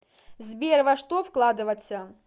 сбер во что вкладываться